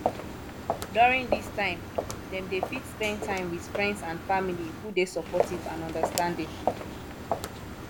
during this time dem dey fit spend time with friends and family who dey supportive and understanding